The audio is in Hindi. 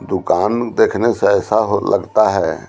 दुकान देखने से ऐसा हो लगता है --